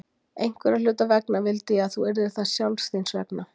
Einhverra hluta vegna vildi ég þú yrðir það sjálfs þín vegna.